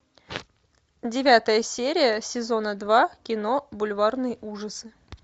девятая серия сезона два кино бульварные ужасы